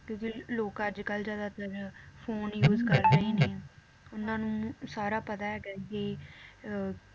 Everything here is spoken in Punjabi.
ਕਿਉਂਕਿ ਲੋਕ ਅਜਕਲ ਜ਼ਆਦਾਤਰ phone use ਕਰਦੇ ਹੀ ਨੇ, ਉਹਨਾਂ ਨੂੰ ਸਾਰਾ ਪਤਾ ਹੈਗਾ ਏ ਕੀ ਅਹ